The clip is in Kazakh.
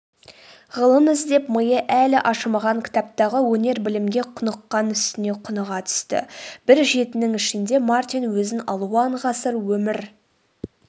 ғылым іздеп миы әлі ашымаған кітаптағы өнер-білімге құныққан үстіне құныға түсті.бір жетінің ішінде мартин өзін алуан ғасыр өмір